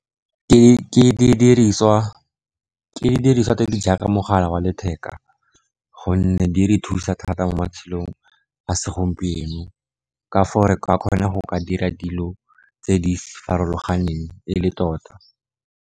Ke didiriswa tse di jaaka mogala wa letheka, gonne di re thusa thata mo matshelong a segompieno, ka foo re ka kgona go dira dilo tse di farologaneng e le tota.